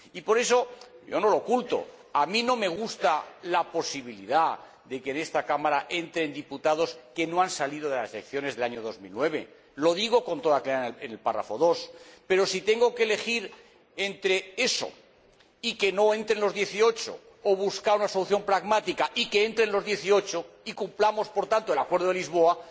Y por eso, yo no lo oculto, a mí no me gusta la posibilidad de que en esta Cámara entren diputados que no han salido de las elecciones del año 2009 lo digo con toda claridad en el apartado 2 pero si tengo que elegir entre eso y que no entren los 18 o buscar una solución pragmática y que entren los 18 y cumplamos, por tanto, el acuerdo de Lisboa,